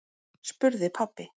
spurði pabbi.